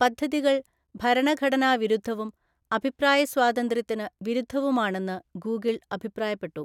പദ്ധതികൾ ഭരണഘടനാ വിരുദ്ധവും അഭിപ്രായ സ്വാതന്ത്ര്യത്തിന് വിരുദ്ധവുമാണെന്ന് ഗൂഗിൾ അഭിപ്രായപ്പെട്ടു.